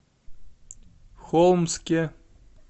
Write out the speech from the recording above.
холмске